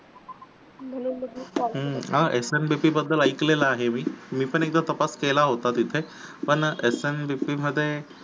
S N B P बद्दल ऐकलेल आहे मी. मी पण एकदा तिथे तपास केला होता तिथे एस एन बी पी मध्ये